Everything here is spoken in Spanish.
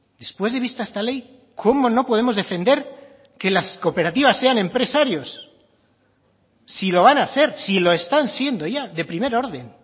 después de vista esta ley cómo no podemos defender que las cooperativas sean empresarios si lo van a ser si lo están siendo ya de primer orden